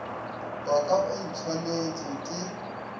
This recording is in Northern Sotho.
wa ka o ntshwanetše ke